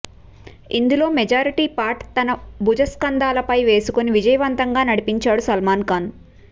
ఇందులో majority part తన భుజస్కంధాలపై వేసుకుని విజయవంతంగా నడిపించాడు సల్మాన్ ఖాన్